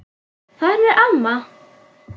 Þarna er amma!